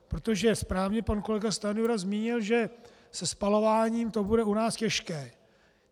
Protože správně pan kolega Stanjura zmínil, že se spalováním to bude u nás těžké.